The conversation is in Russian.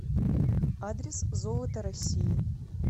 адрес золото россии